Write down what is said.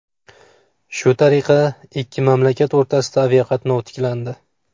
Shu tariqa ikki mamlakat o‘rtasida aviaqatnov tiklandi.